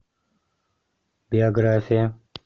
биография